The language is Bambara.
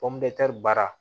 baara